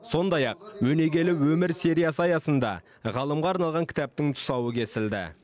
сондай ақ өнегелі өмір сериясы аясында ғалымға арналған кітаптың тұсауы кесілді